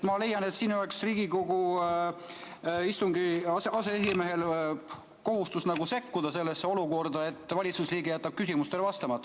Ma leian, et siin oleks Riigikogu istungil aseesimehe kohustus sekkuda sellesse olukorda, kus valitsusliige jätab küsimustele vastamata.